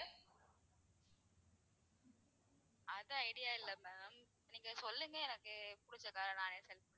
அது idea இல்ல ma'am நீங்க சொல்லுங்க எனக்கு புடிச்ச car ற நான் select பண்ணிக்குறேன்.